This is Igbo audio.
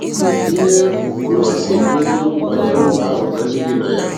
Ihe mmasị bụ eziokwu banyere mba ahụ na ndị bi na ya.